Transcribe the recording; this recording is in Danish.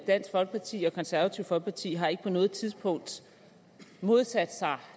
dansk folkeparti og konservative folkeparti har ikke på noget tidspunkt modsat sig